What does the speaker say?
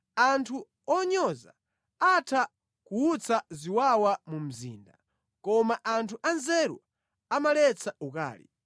Anthu onyoza atha kuwutsa ziwawa mu mzinda, koma anthu anzeru amaletsa ukali.